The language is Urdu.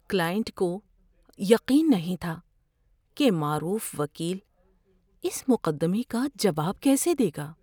کلائنٹ کو یقین نہیں تھا کہ معروف وکیل اِس مقدمے کا جواب کیسے دے گا۔